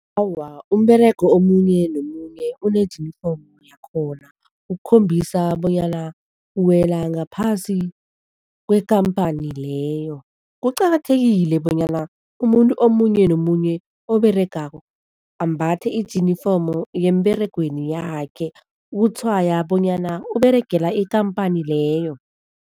Awa, umberego omunye nomunye unejinifomu yakhona ukukhombisa bonyana uwela ngaphasi kwekhamphani leyo. Kuqakathekile bonyana umuntu omunye nomunye oberegako ambathe ijinifomu yemberegweni yakhe ukutshwaya bonyana uberegela ikhamphani leyo.